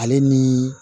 Ale ni